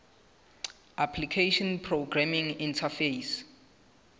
application programming interface